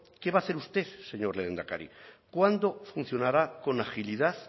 qué va a hacer usted señor lehendakari cuándo funcionará con agilidad